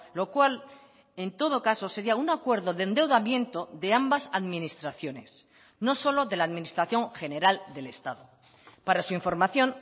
lo cual en todo caso sería un acuerdo de endeudamiento de ambas administraciones no solo de la administración general del estado para su información